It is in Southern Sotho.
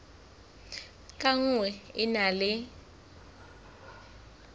ka nngwe e na le